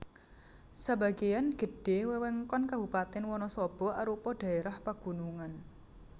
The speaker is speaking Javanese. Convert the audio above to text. Sebagéan gedhé wewengkon Kabupatèn Wanasaba arupa dhaérah pagunungan